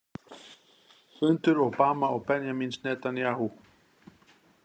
Fundur Obama og Benjamíns Netanyahu.